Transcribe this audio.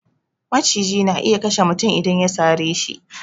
Maciji na iya kashe mutum idan ya sare shi